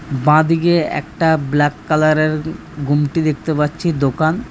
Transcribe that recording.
বাঁ দিকে একটা ব্ল্যাক কালারের ঘুমটি দেখতে পাচ্ছি দোকান--